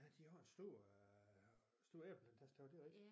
Ja de har en stor øh stor æbleplantage der det rigtig